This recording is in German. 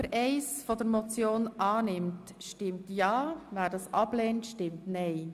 Wer Ziffer 1 der Motion annimmt, stimmt ja, wer sie ablehnt, stimmt nein.